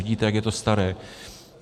Vidíte, jak je to staré.